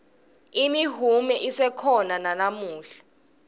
imihume isekhona nalamuhla